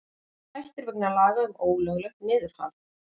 Hættir vegna laga um ólöglegt niðurhal